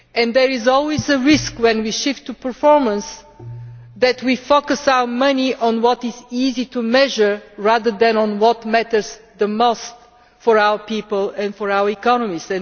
There is always a risk that when we shift to performance, we focus our money on what is easy to measure rather than on what matters the most for our people and our economies.